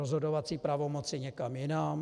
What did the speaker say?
rozhodovací pravomoci někam jinam?